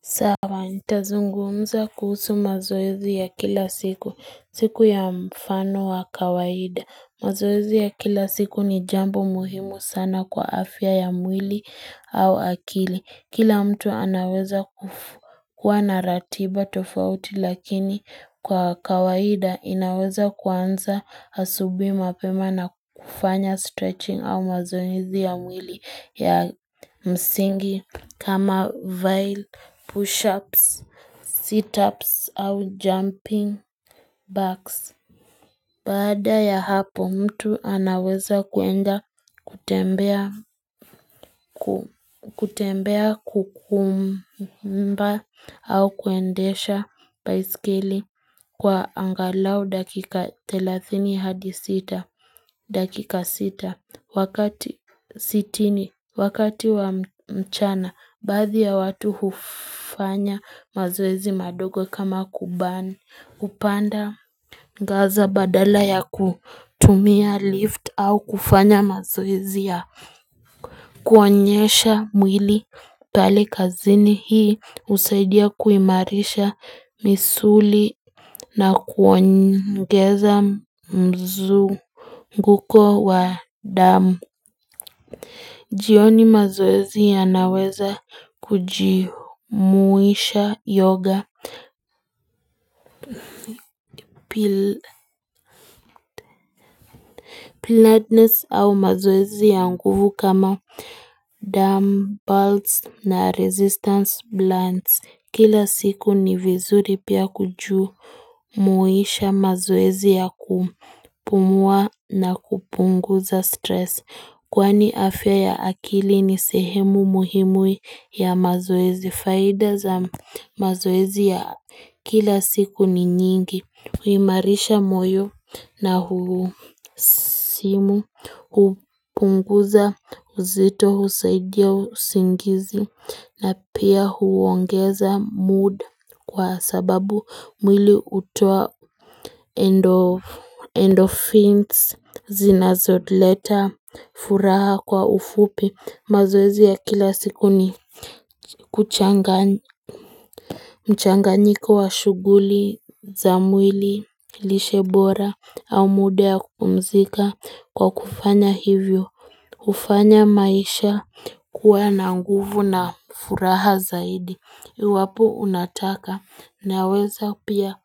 Sawa, ntazungumza kuhusu mazoezi ya kila siku, siku ya mfano wa kawaida. Mazoezi ya kila siku ni jambo muhimu sana kwa afya ya mwili au akili. Kila mtu anaweza kuwa na ratiba tofauti lakini kwa kawaida inaweza kuanza asubuhi mapema na kufanya stretching au mazoezi ya mwili ya msingi. Kama vile, push-ups, sit-ups au jumping backs. Baada ya hapo mtu anaweza kuenda kutembea kutembea kukumba au kuendesha baiskeli kwa angalau dakika thelathini hadi sita. Dakika sita, wakati sitini, wakati wa mchana, baadhi ya watu hufanya mazoezi madogo kama kubani hupanda ngaza badala ya kutumia lift au kufanya mazoezi ya kuonyesha mwili pale kazini hii husaidia kuimarisha misuli na kuongeza mzunguko wa damu jioni mazoezi yanaweza kuji muisha yoga Piladness au mazoezi ya nguvu kama damu, bands na resistance blunts Kila siku ni vizuri pia kuju muisha mazoezi ya kupumua na kupunguza stress Kwani afya ya akili ni sehemu muhimu ya mazoezi Faida za mazoezi ya kila siku ni nyingi huimarisha moyo na husimu hupunguza uzito husaidia usingizi na pia huongeza mood kwa sababu mwili hutoa endo endorphins zinazoleta furaha kwa ufupi mazoezi ya kila siku ni kuchanga mchanganyiko wa shughuli za mwili lishe bora au muda ya kupumzika kwa kufanya hivyo hufanya maisha kuwa na nguvu na furaha zaidi iwapo unataka naweza pia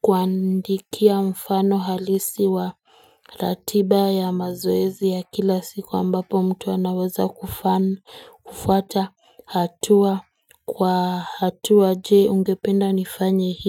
kuandikia mfano halisi wa ratiba ya mazoezi ya kila siku ambapo mtu anaweza kufuata hatua kwa hatua je ungependa nifanye hii.